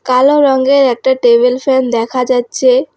কালো রঙের একটা টেবিল ফ্যান দেখা যাচ্ছে।